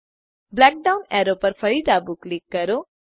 black down arrow પર ફરી ડાબું ક્લિક કરો